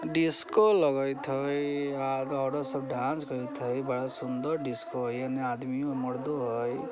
Disco लगेत है आर औरत सब डांस करत है बड़ा सुन्दर डिस्को है एन्ने आदमियों है मर्दो है।